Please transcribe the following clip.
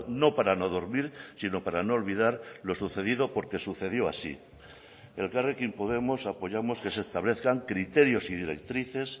no para no dormir sino para no olvidar lo sucedido porque sucedió así elkarrekin podemos apoyamos que se establezcan criterios y directrices